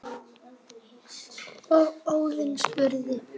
og Óðinn spurði